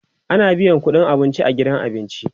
ana biyan ƙudin abinci a gidan abinci